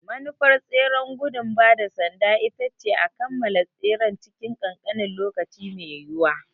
Manufar tseren gudun ba da sanda ita ce a kammala tseren cikin ƙanƙanin lokaci mai yiwuwa.